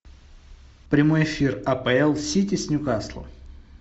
прямой эфир апл сити с ньюкаслом